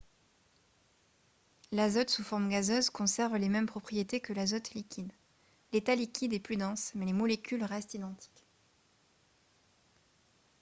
l'azote sous forme gazeuse conserve les mêmes propriétés que l'azote liquide l'état liquide est plus dense mais les molécules restent identiques